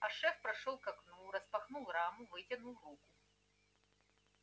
а шеф прошёл к окну распахнул раму вытянул руку